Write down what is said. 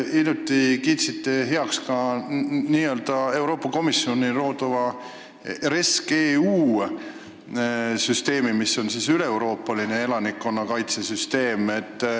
Hiljuti te kiitsite heaks ka Euroopa Komisjoni loodava REScEU süsteemi, mis on üleeuroopaline elanikkonnakaitse süsteem.